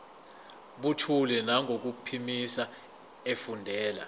buthule nangokuphimisa efundela